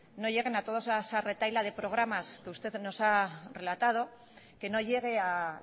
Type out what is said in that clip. a esa toda retahíla de programas que usted nos ha relatado que no llegue a